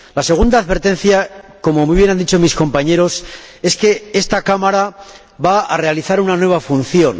La segunda advertencia como muy bien han dicho mis compañeros es que esta Cámara va a realizar una nueva función.